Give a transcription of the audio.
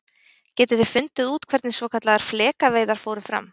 Getið þið fundið út hvernig svokallaðar flekaveiðar fóru fram?